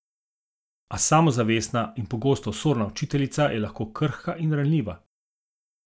A samozavestna in pogosto osorna učiteljica je lahko krhka in ranljiva.